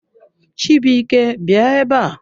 Chibuike bịa ebe a!